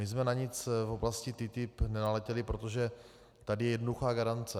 My jsme na nic v oblasti TTIP nenaletěli, protože tady je jednoduchá garance.